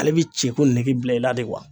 Ale bi cɛko nigi bila i la de wa.